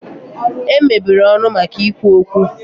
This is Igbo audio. E mebere ọnụ maka ikwu okwu.